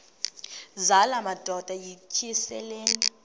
zala madoda yityesheleni